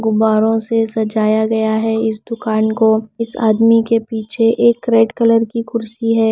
गुब्बारों से सजाया गया है इस दुकान को इस आदमी के पीछे एक रेड कलर की कुर्सी है।